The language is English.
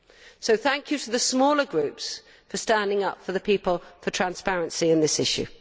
So thank you to the smaller groups for standing up for the people and for transparency on this issue.